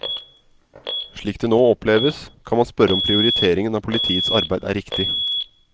Slik det nå oppleves, kan man spørre om prioriteringen av politiets arbeid er riktig.